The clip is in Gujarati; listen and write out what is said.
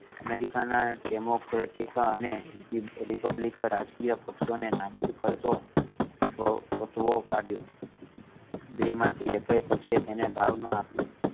અમેરિકા ના democratic અને republic રાજકીય પક્ષો ને નાબૂદ કરતો ફતવો કાઢ્યો બે માથી એક એ પક્ષે એને ભાવ ન આપ્યો